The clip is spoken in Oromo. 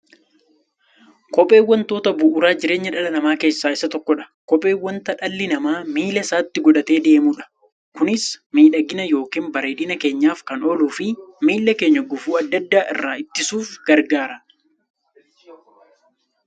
Kopheen wantoota bu'uura jireenya dhala namaa keessaa isa tokkodha. Kopheen wanta dhalli namaa miilla isaatti godhatee deemudha. Kunis miidhagani yookiin bareedina keenyaf kan ooluufi miilla keenya gufuu adda addaa irraa ittisuuf gargaara.